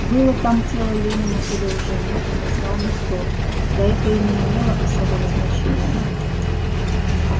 было там тело ленина или уже нет не знал никто да это и не имело особого значения